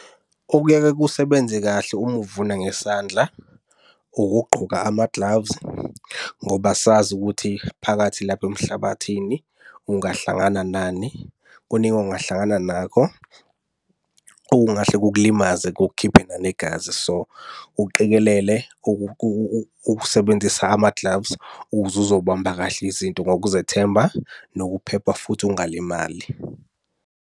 Okuyaye kusebenze kahle uma uvuna ngesandla, ukugqoka ama-gloves ngoba asazi ukuthi phakathi lapha emhlabathini ungahlangana nani. Kuningi ongahlangana nakho okungahle kukulimaze kukukhiphe nanegazi. So uqikelele ukusebenzisa ama-gloves ukuze uzobamba kahle izinto ngokuzethemba nokuphepha futhi ungalimali.